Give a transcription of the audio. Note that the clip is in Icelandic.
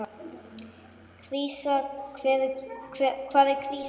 Krísa, hvað er krísa?